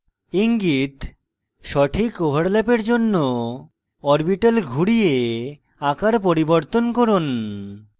ইঙ্গিত: সঠিক ওভারল্যাপের জন্য orbitals ঘুরিয়ে আকার পরিবর্তন করুন